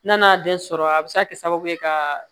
N'a den sɔrɔ a bɛ se ka kɛ sababu ye ka